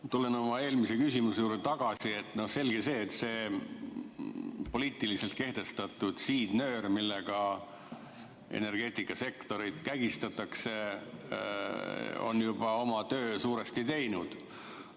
Ma tulen oma eelmise küsimuse juurde tagasi, et no selge see, et see poliitiliselt kehtestatud siidnöör, millega energeetikasektorit kägistatakse, on juba oma töö suuresti teinud.